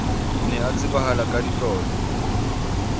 ne a tsebahala ka ditlolo